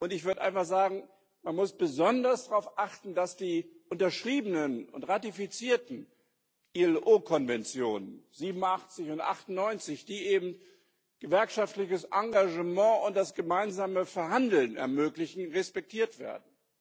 Ich würde einfach sagen Man muss besonders darauf achten, dass die unterschriebenen und ratifizierten IAO Konventionen 87 und 98, die eben gewerkschaftliches Engagement und das gemeinsame Verhandeln ermöglichen, respektiert werden.